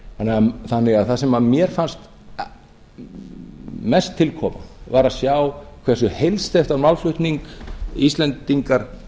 fjármagnsins þannig að það sem mér fannst mest til koma var að sjá hversu heilsteyptan málflutning íslendingar